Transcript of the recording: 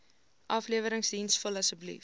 afleweringsdiens vul asseblief